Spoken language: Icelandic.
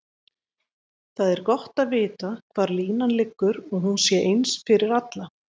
Það er gott að vita hvar línan liggur og hún sé eins fyrir alla.